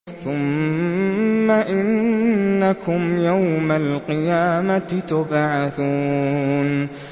ثُمَّ إِنَّكُمْ يَوْمَ الْقِيَامَةِ تُبْعَثُونَ